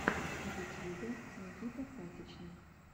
в ютьюбе никита пасичный